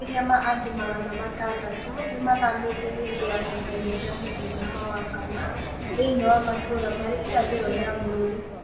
Makĩrĩa ma andũ magana matandatũ nĩmathamĩte hĩndĩ ya ngũcanĩo cia mũthenya wa wakana thĩiniĩ wa matũra marĩ irathĩro rĩa bũrũrĩ.